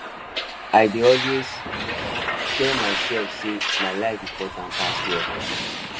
i dey always tell myself sey my life important pass work